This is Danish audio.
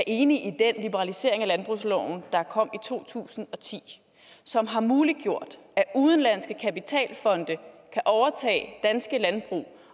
enige i den liberalisering af landbrugsloven der kom i to tusind og ti som har muliggjort at udenlandske kapitalfonde kan overtage danske landbrug